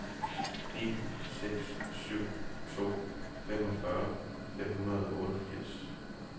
ni seks syv to femogfyrre fem hundrede og otteogfirs